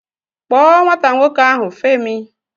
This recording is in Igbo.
Kpọọ nwata nwoke ahụ, Femi!